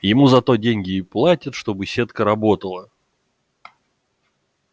ему за то деньги и платят чтобы сетка работала